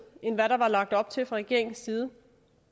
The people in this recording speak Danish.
end hvad der var lagt op til fra regeringens side